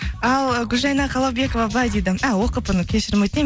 ал гүлжәйна қаламбекова былай дейді кешірім өтінемін